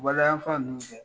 waleya se